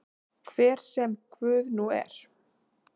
Hver sem Guð nú er.